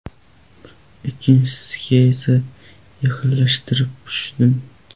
Ikkinchisiga esa yaqinlashtirib tushdim.